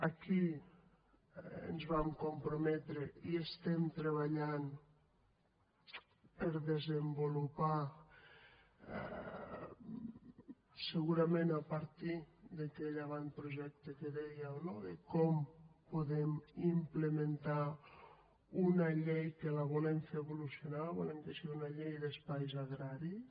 aquí ens vam comprometre i estem treballant per desenvolupar segurament a partir d’aquell avantprojecte que dèieu no de com podem implementar una llei que la volem fer evolucionar volem que sigui una llei d’espais agraris